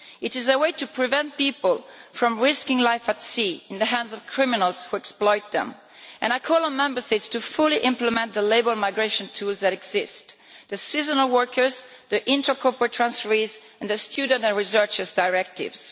It is a way to prevent people from risking their lives at sea in the hands of criminals who exploit them. I call on Member States to fully implement the labour migration tools that exist the Seasonal Workers, the Intra Corporate Transferees and the Students and Researchers Directives.